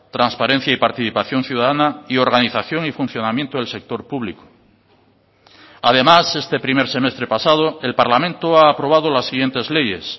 transparencia y participación ciudadana y organización y funcionamiento del sector público además este primer semestre pasado el parlamento ha aprobado las siguientes leyes